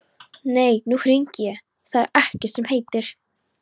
Nei, nú hringi ég, það er ekkert sem heitir!